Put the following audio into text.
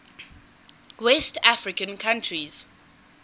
west african countries